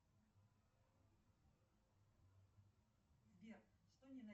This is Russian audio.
салют мне нужны деньги